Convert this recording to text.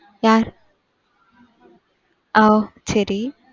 அ சரி.